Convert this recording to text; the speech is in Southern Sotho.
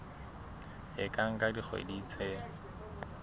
e ka nka dikgwedi tse